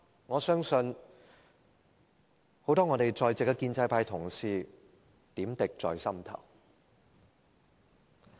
我相信很多在席的建制派同事點滴在心頭。